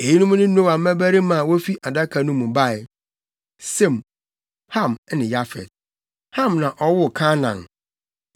Eyinom ne Noa mmabarima a wofi Adaka no mu bae: Sem, Ham ne Yafet. Ham na ɔwoo Kanaan.